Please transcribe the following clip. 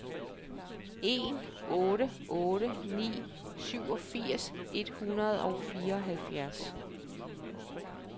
en otte otte ni syvogfirs et hundrede og fireoghalvfjerds